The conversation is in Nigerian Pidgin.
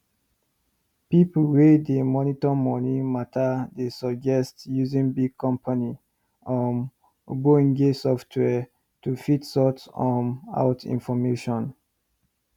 people wey dey monitor money matter dey suggest using big company um ogbonge software to fit sort um out information